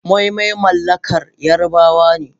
Moi-moi mallakar Yarabawa ne.